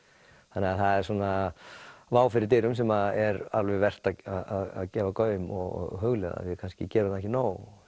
þannig að það er vá fyrir dyrum sem er alveg vert að gefa gaum og hugleiða við kannski gerum það ekki nóg